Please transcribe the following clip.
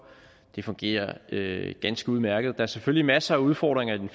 det fungerer ganske udmærket der er selvfølgelig masser af udfordringer i den